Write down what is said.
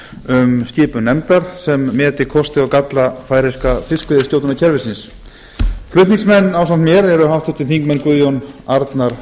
um skipan nefndar sem meti kosti og galla færeyska fiskveiðistjórnarkerfisins flutningsmenn ásamt mér eru háttvirtir þingmenn guðjón arnar